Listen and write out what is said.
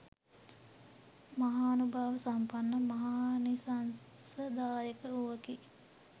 මහානුභාව සම්පන්න මහානිසංසදායක වූවකි